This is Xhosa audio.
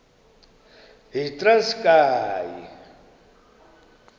yitranskayi